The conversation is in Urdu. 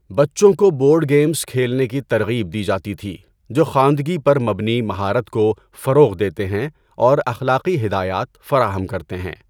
بچوں کو بورڈ گیمز کھیلنے کی ترغیب دی جاتی تھی جو خواندگی پر مبنی مہارت کو فروغ دیتے ہیں اور اخلاقی ہدایات فراہم کرتے ہیں۔